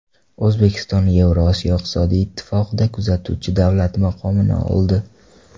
O‘zbekiston Yevrosiyo iqtisodiy ittifoqida kuzatuvchi davlat maqomini oldi.